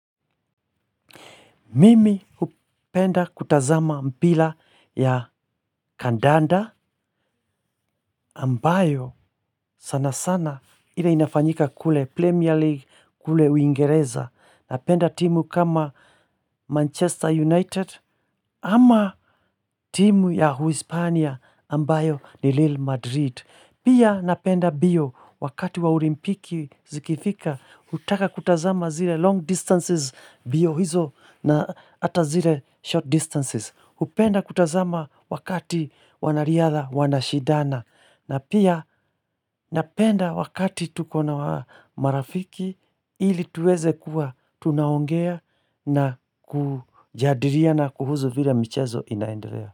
Mimi hupenda kutazama mpira ya kandanda ambayo sana sana ile inafanyika kule Premier League kule uingereza. Napenda timu kama Manchester United ama timu ya Uhispania ambayo ni Real Madrid. Pia napenda mbio wakati wa Olimpiki zikifika hutaka kutazama zile long distances mbio hizo na hata zile short distances. Hupenda kutazama wakati wanariadha wanashindana na pia napenda wakati tuko na marafiki ili tuweze kuwa tunaongea na kujadiliana kuhusu vile michezo inaendelea.